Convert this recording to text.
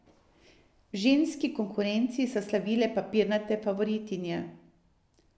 V ženski konkurenci so slavile papirnate favoritinje.